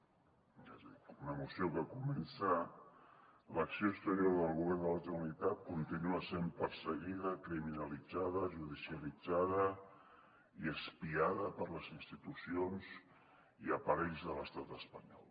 és a dir una moció que comença l’acció exterior del govern de la generalitat continua sent perseguida criminalitzada judicialitzada i espiada per les institucions i aparells de l’estat espanyol